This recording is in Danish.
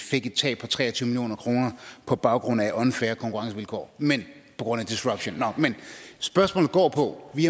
tab på tre og tyve million kroner på baggrund af unfair konkurrencevilkår på grund af disruption men spørgsmålet går på at vi